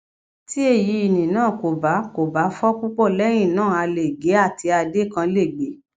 ti eyini naa ko ba ko ba fọ pupọ lẹhinna a le ge ati adé kan le gbe